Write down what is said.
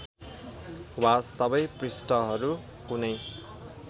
वा सबै पृष्ठहरू कुनै